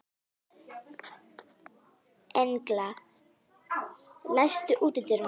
Engla, læstu útidyrunum.